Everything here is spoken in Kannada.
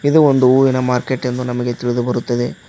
ಇದು ಒಂದು ಹೂವಿನ ಮಾರ್ಕೆಟ್ ಎಂದು ನಮಗೆ ತಿಳಿದು ಬರುತ್ತದೆ.